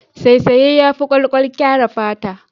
Saisaye yafi kwalkwal kare fata.